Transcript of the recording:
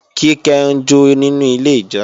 Kíkẹ́ ń jó nínú ilé ìjọsìn